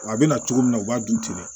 Wa a bɛna cogo min na u b'a dun ten dɛ